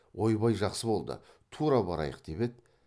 ойбай жақсы болды тура барайық деп еді